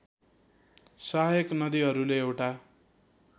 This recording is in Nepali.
सहायक नदिहरूले एउटा